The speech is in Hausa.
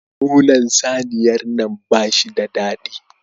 Nonon saniyar nan bashi da daɗi